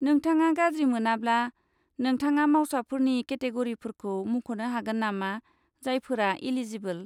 नोंथाङा गाज्रि मोनाब्ला, नोंथाङा मावसाफोरनि केटेग'रिफोरखौ मुंख'नो हागोन नामा जायफोरा एलिजिबोल?